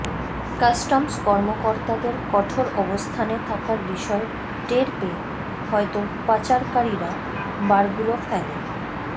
customs কর্মকর্তাদের কঠোর অবস্থানে থাকার বিষয় টের পেয়ে হয়তো পাচারকারীরা বারগুলো ফেলে